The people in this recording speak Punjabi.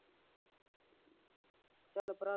ਚੱਲ ਭਰਾ